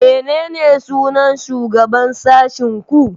Menene sunan shugaban sashin ku?